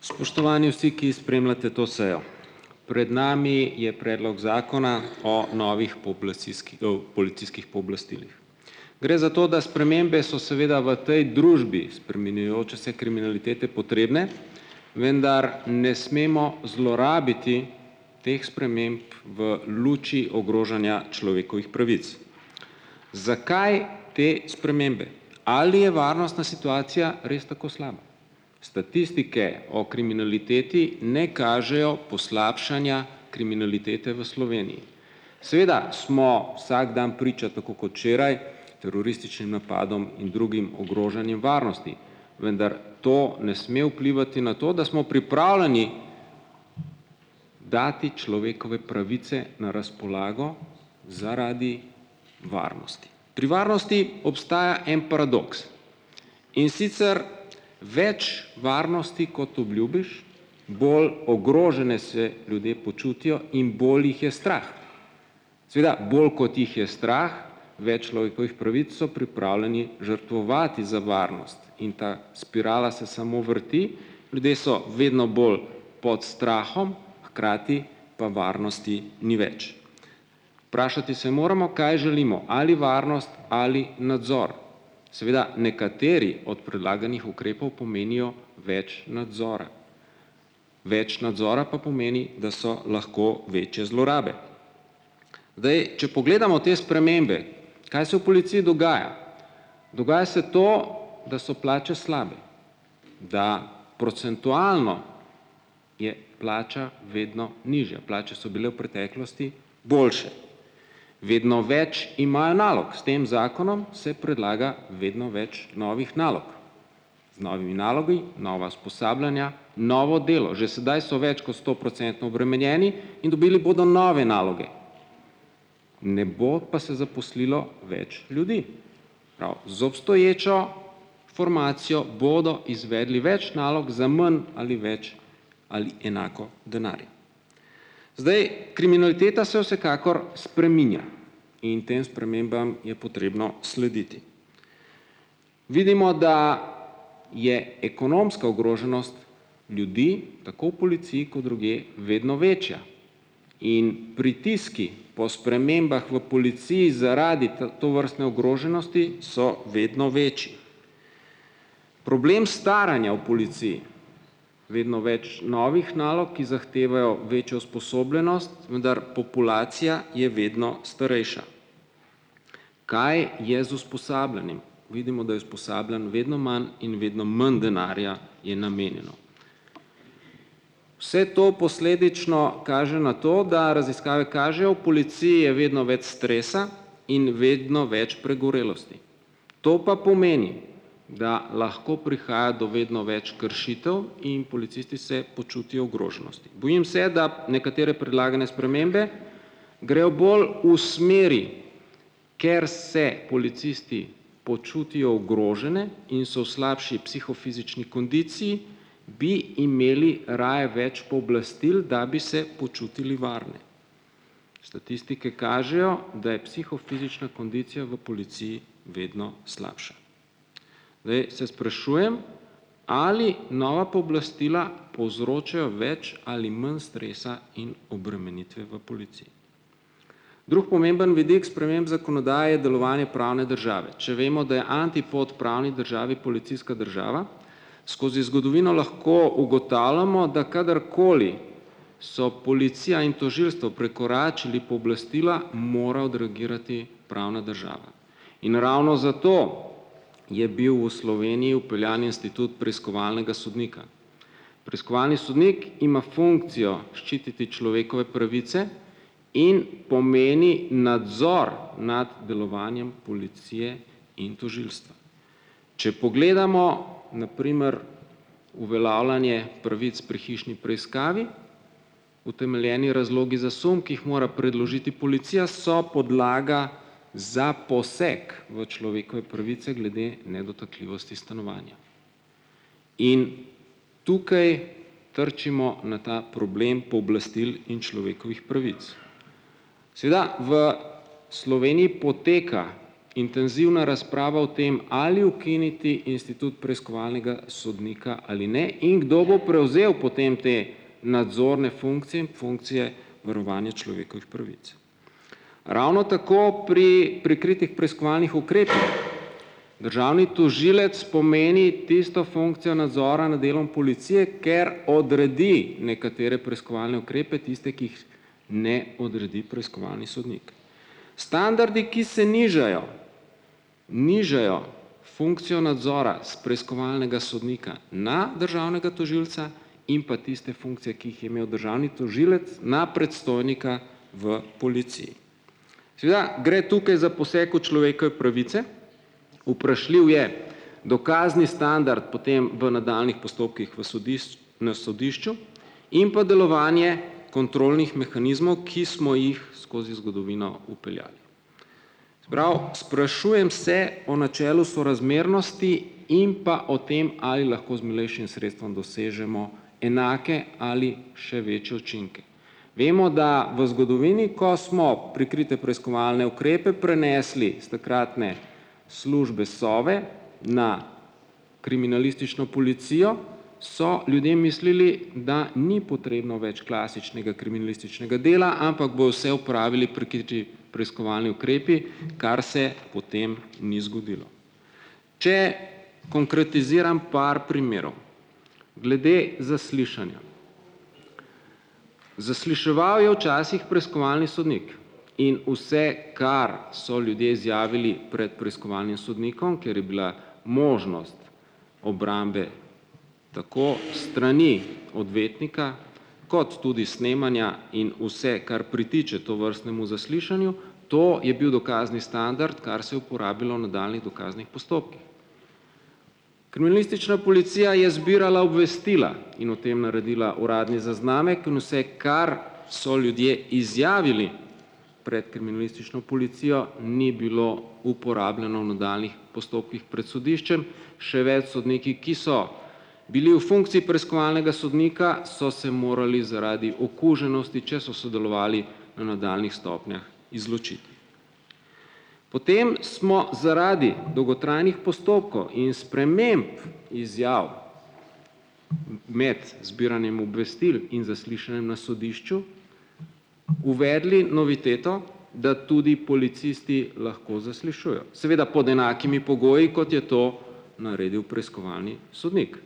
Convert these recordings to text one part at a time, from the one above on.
Spoštovani vsi, ki spremljate to sejo! Pred nami je predlog zakona o novih policijskih pooblastilih. Gre za to, da spremembe so seveda v tej družbi spreminjajoče se kriminalitete potrebne, vendar ne smemo zlorabiti teh sprememb v luči ogrožanja človekovih pravic. Zakaj te spremembe? Ali je varnostna situacija res tako slaba? Statistike o kriminaliteti ne kažejo poslabšanja kriminalitete v Sloveniji. Seveda smo vsak dan priča tako, kot včeraj, napadom in drugim ogrožanjem varnosti, vendar to ne sme vplivati na to, da smo pripravljeni dati človekove pravice na razpolago zaradi varnosti. Pri varnosti obstaja en paradoks. In sicer več varnosti, kot obljubiš, bolj ogrožene se ljudje počutijo in bolj jih je strah. Seveda bolj, kot jih je strah, pravic so pripravljeni žrtvovati za varnost in ta spirala se samo vrti. Ljudje so vedno bolj pod strahom, hkrati pa varnosti ni več. Vprašati se moramo, kaj želimo, ali varnost ali nadzor. Seveda nekateri od predlaganih ukrepov pomenijo več nadzora. Več nadzora pa pomeni, da so lahko večje zlorabe. Če pogledamo te spremembe, kaj se v polici dogaja. Dogaja se to, da so plače slabe, da procentualno je plača vedno nižja. Plače so bile v preteklosti boljše. Vedno več imajo nalog, s tem zakonom se predlaga vedno več novih nalog. Z novimi nalogi nova usposabljanja, novo delo. Že sedaj so več kot stoprocentno obremenjeni in dobili bodo nove naloge. Ne bo pa se zaposlilo več ljudi. Prav, z#, obstoječo formacijo bodo izvedli več nalog za manj ali več ali enako denarja. Zdaj, kriminaliteta se vsekakor spreminja in potem spremembam je potrebno slediti. Vidimo, da je ekonomska ogroženost ljudi tako v policiji ko drugje vedno večja. In pritiski po spremembah v policiji zaradi tovrstne ogroženosti so vedno več. Problem staranja v policiji. Vedno več novih nalog, ki zahtevajo večjo usposobljenost, vendar populacija je vedno starejša. Kaj je z usposabljanjem? Vidimo, da je usposabljanj vedno manj in vedno manj denarja je namenjeno. Vse to posledično kaže na to, da raziskave kažejo, v policiji je vedno več stresa in vedno več pregorelosti. To pa pomeni, da lahko prihaja do vedno več kršitev in policisti se počutijo ogroženosti. Bojim se, da nekatere predlagane spremembe grejo bolj v smeri, ker se policisti počutijo ogrožene in so v slabši psihofizični kondiciji, bi imeli raje več pooblastil, da bi se počutili varne. Statistike kažejo, da je psihofizična kondicija v policiji vedno slabša. Se sprašujem, ali nova pooblastila povzročijo več ali manj stresa in obremenitve v polici. Drugi pomemben vidik sprememb delovanje pravne države. Če vemo, da je antipod pravni državi policijska država, skozi zgodovino lahko ugotavljamo, da kadarkoli so policija in tožilstvo prekoračili pooblastila mora odreagirati pravna država. In ravno zato je bil v Sloveniji vpeljan institut preiskovalnega sodnika. Preiskovalni sodnik ima funkcijo ščititi človekove pravice in pomeni nadzor nad delovanjem policije in tožilstva. Če pogledamo na primer uveljavljanje pravic pri hišni preiskavi, utemeljeni razlogi za sum, ki jih mora predložiti policija, so podlaga za poseg v človekove pravice glede nedotakljivosti stanovanja. In tukaj trčimo na ta problem pooblastil in človekovih pravic. Seveda v Sloveniji poteka intenzivna razprava o tem, ali ukiniti institut preiskovalnega sodnika ali ne in kdo bo prevzel potem te nadzorne funkcije varovanje človekovih pravic. Ravno tako pri prikritih preiskovalnih ukrepih, državni tožilec pomeni tisto funkcijo nadzora na delom policije, ker odredi nekatere preiskovalne ukrepe, tiste, ki jih ne odredi preiskovalni sodnik. Standardi, ki se nižajo, nižajo funkcijo nadzora s preiskovalnega sodnika na državnega tožilca, jim pa tiste funkcije, ki jih je imel državni tožilec na predstojnika v polici. Seveda gre tukaj za poseg v pravice. Vprašljiv je dokazni standard potem v nadaljnjih postopkih v na sodišču in pa delovanje kontrolnih mehanizmov, ki smo jih skozi zgodovino vpeljali. Prav, sprašujem se o načelu sorazmernosti in pa o tem, ali lahko z milejšim sredstvom dosežemo enake ali še ... Vemo, da v zgodovini, ko smo prikrite preiskovalne ukrepe prinesli s takratne službe Sove na kriminalistično policijo, so ljudje mislili, da ni potrebno več klasičnega dela, ampak opravili preiskovalni ukrepi, kar se potem ni zgodilo. Če konkretiziram par primerov glede zaslišanja. Zasliševal je včasih preiskovalni sodnik in vse, kar so ljudje izjavili pred preiskovalnim sodnikom, kjer je bila možnost obrambe tako s strani odvetnika, kot tudi snemanja in vse, kar pritiče tovrstnemu zaslišanju, to je bil dokazni standard, kar se je uporabilo v nadaljnjih dokaznih postopkih. Policija je zbirala obvestila in o tem naredila uradni zaznamek in vse, kar so ljudje izjavili pred kriminalistično policijo, ni bilo uporabljeno v nadaljnjih postopkih pred sodiščem. Še več, sodniki, ki so bili v funkciji preiskovalnega sodnika, so se morali zaradi okuženosti, če so sodelovali v nadaljnjih stopnjah, izločiti. Potem smo zaradi dolgotrajnih postopkov in sprememb izjav med zbiranjem obvestil in na sodišču uvedli noviteto, da tudi policisti lahko zaslišujejo, seveda pod enakimi pogoji, kot je to naredil preiskovalni sodnik.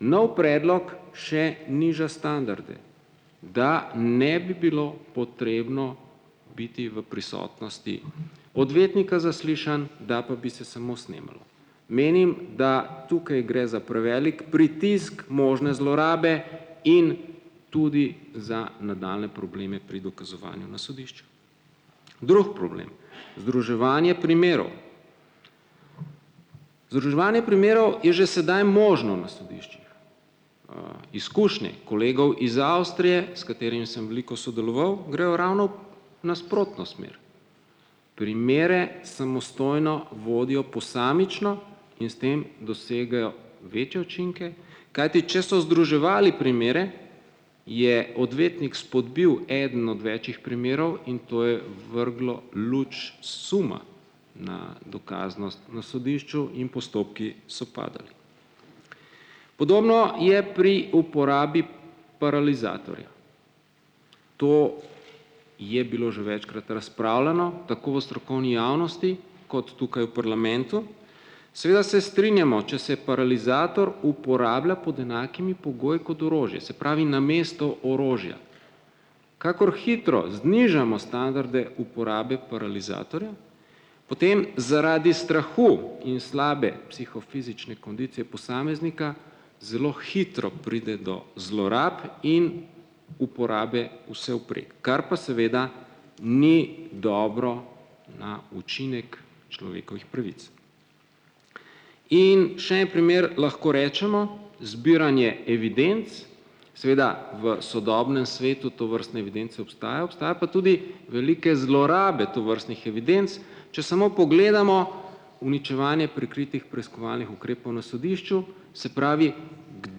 Nov predlog še niža standarde, da ne bi bilo potrebno biti v prisotnosti odvetnika zaslišan, da pa bi se samo snemalo. Menim, da tukaj gre za prevelik pritisk možne zlorabe in tudi za nadaljnje probleme pri dokazovanju na sodišču. Drugi problem, združevanje primerov. primerov je že sedaj možno na sodiščih. izkušnje kolegov iz Avstrije s, sem veliko sodeloval, grejo ravno v nasprotno smer. Primere samostojno vodijo posamično in s tem dosegajo večje učinke, kajti če so združevali primere, je odvetnik spodbil eden od večjih primerov, in to je vrglo luč suma na dokaznost na sodišču in postopki so padali. Podobno je pri uporabi paralizatorja. To je bilo že večkrat razpravljano, tako v strokovni javnosti kot tukaj v parlamentu, seveda se strinjamo, če se paralizator uporablja pod enakimi pogoji kot orožje, se pravi, namesto orožja. Kakor hitro znižamo standarde uporabe paralizatorja, potem zaradi strahu in slabe psihofizične kondicije posameznika zelo hitro pride do zlorab in uporabe vsevprek, kar pa seveda ni dobro na učinek človekovih pravic. In še en primer lahko rečemo, zbiranje evidenc, seveda v sodobnem svetu obstaja pa tudi velike zlorabe tovrstnih evidenc, če samo pogledamo uničevanje prikritih preiskovalnih ukrepov na sodišču, se pravi,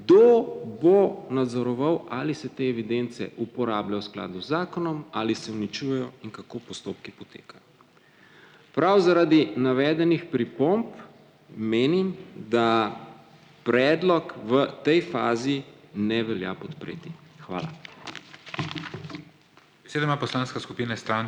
kdo bo nadzoroval, ali se te evidence uporabljajo v skladu z zakonom ali se uničujejo in kako postopki potekajo. Prav zaradi navedenih pripomb menim, da predlog v tej fazi ne velja podpreti. Hvala.